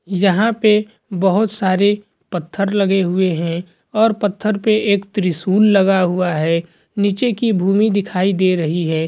यहाँ पे बहुत सारे पत्थर लगे हुए है और पत्थर पे एक त्रिशूल लगा हुआ है नीचे की भूमी दिखाई दे रही है।